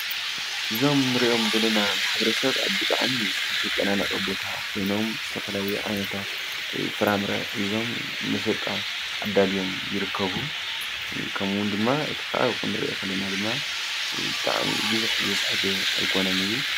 እዞም እንሪኦም ዘለና ማሕበረሰብ ብጣዕሚ ዝተጨናነቀ ቦታ ኮይኖም ዝተፈላለዩ ዓይነታት ፍራፍምረ ሒዞም መሸጣ ኣዳልዮም ይርከቡ። ከምኡ እውን ድማ እቲ ኸባቢ ክንሪኦ ከለና ድማ ብጣዕሚ ብዙሕ ዝስሕብ ኣይኮነን እዩ።